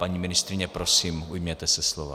Paní ministryně, prosím, ujměte se slova.